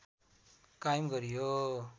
कायम गरियो